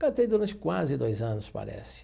Cantei durante quase dois anos, parece.